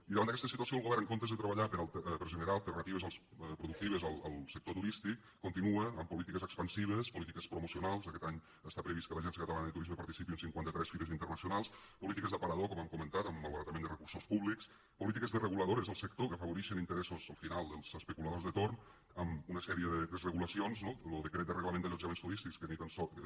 i davant d’aquesta situació el govern en comptes de treballar per generar alternatives productives al sector turístic continua amb polítiques expansives polítiques promocionals aquest any està previst que l’agència catalana de turisme participi en cinquanta tres fires internacionals polítiques d’aparador com hem comentat amb malbaratament de recursos públics polítiques desreguladores del sector que afavorixen interessos al final dels especuladors de torn amb una sèrie de desregulacions no lo decret de reglament d’allotjaments turístics que ni tan sols